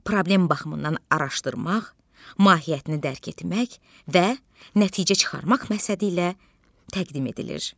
Problem baxımından araşdırmaq, mahiyyətini dərk etmək və nəticə çıxarmaq məqsədi ilə təqdim edilir.